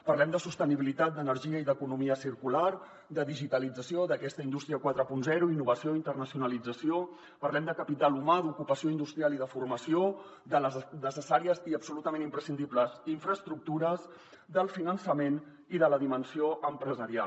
parlem de sostenibilitat d’energia i d’economia circular de digitalització d’aquesta indústria quaranta innovació internacionalització parlem de capital humà d’ocupació industrial i de formació de les necessàries i absolutament imprescindibles infraestructures del finançament i de la dimensió empresarial